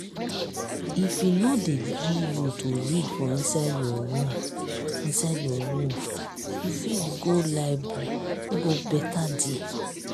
if e no dey gree you to read for inside your room inside your room you fit go library e go better there